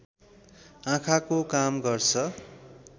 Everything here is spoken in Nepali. आँखाको काम गर्छ